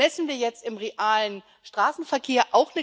Das messen wir jetzt im realen Straßenverkehr.